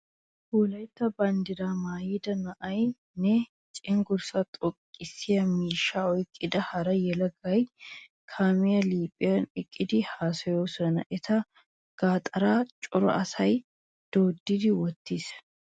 Wolaytta banddiraa maayida na'ay nne cenggurssaa xoqqissiya miishshaa oyqqida hara yelagay kaamiyawu liiphiyan eqqidi haasayoosona. Eta gaxaara cora asay doddi wottiis.